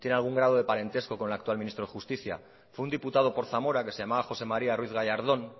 algún grado de parentesco con el actual ministro de justicia fue un diputado por zamora que se llamaba josé maría ruiz gallardón